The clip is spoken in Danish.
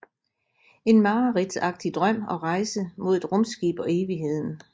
En mareridtsagtig drøm og rejse mod et rumskib og evigheden